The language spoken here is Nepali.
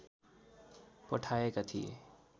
पठाएका थिए